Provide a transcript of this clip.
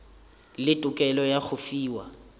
le tokelo ya go fiwa